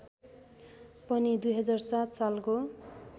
पनि २००७ सालको